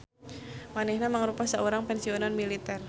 Manehna mangrupa saurang pensiunan militer.